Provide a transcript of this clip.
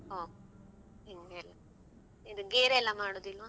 ಹೋ ಇದ್ ಗೇರ್ ಎಲ್ಲ ಮಾಡುದಿಲ್ವ?